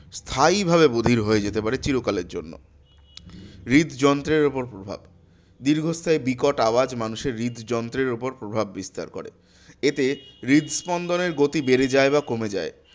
স্থায়ী ভাবে বধির হয়ে যেতে পারে চিরকালের জন্য। হৃদ যন্ত্রের ওপর প্রভাব, দীর্ঘস্থায়ী বিকট আওয়াজ মানুষের হৃদ যন্ত্রের ওপর প্রভাব বিস্তার করে। এতে হৃৎস্পন্দনের গতি বেড়ে যায় বা কমে যায়।